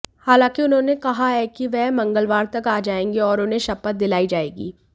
हालांकि उन्होंने कहा है कि वह मंगलवार तक आ जाएंगे और उन्हें शपथ दिलाई जाएगी